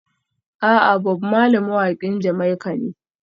A'a, Bob Marley mawaƙin Jamaica ne.